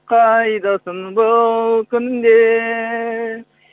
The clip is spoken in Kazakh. қайдасың бұл күнде